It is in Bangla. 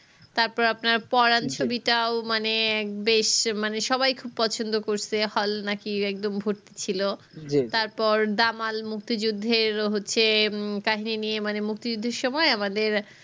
তারপর আপনার পড়ার ছবিটাও মানে বেশ মানে সবাই খুব পছন্দ করসে hall নাকি একদম ভর্তি ছিলো তারপর দামাল মুক্তি যুদ্ধের হচ্ছে হম কাহিনী মানে মুক্তি যুদ্ধের সময় আমাদের